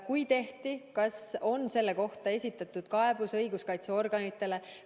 Kui tehti, siis kas on selle kohta esitatud kaebus õiguskaitseorganitele?